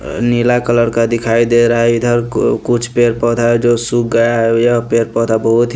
अ नीला कलर का दिखाई दे रहा है इधर कु कुछ पेर पौधा है जो सूख गया है यह पेर पौधा बहुत ही --